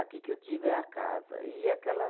Aqui que eu digo é a casa e aquela